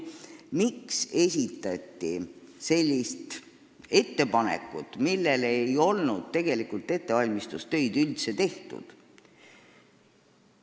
Miks esitati selline ettepanek, mille kohta ei olnud ettevalmistustöid üldse tehtud?